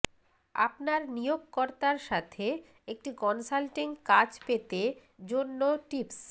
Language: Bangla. আপনার নিয়োগকর্তার সাথে একটি কনসাল্টিং কাজ পেতে জন্য টিপস